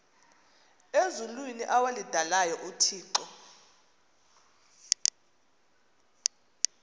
ezulwini awalidalayo uthixo